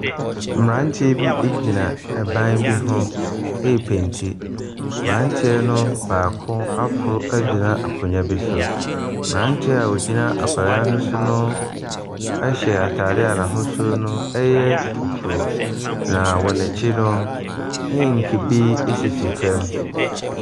Mmeranteɛ bi gyina ban bi ho repenti. Mmeranteɛ no baako aforo agyina akonnwa bi so. Aberanteɛ a ɔgyina akonnwa no so no hyɛ atadeɛ a n'ahosuo no yɛ fufuo, na wɔn akyi no, inki bi sisi fam.